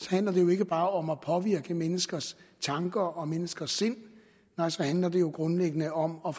ikke bare om at påvirke menneskers tanker og menneskers sind nej så handler det grundlæggende om om